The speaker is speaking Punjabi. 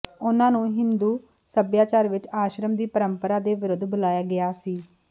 ਉਨ੍ਹਾਂ ਨੂੰ ਹਿੰਦੂ ਸਭਿਆਚਾਰ ਵਿੱਚ ਆਸ਼ਰਮ ਦੀ ਪਰੰਪਰਾ ਦੇ ਵਿਰੁੱਧ ਬੁਲਾਇਆ ਗਿਆ ਸੀ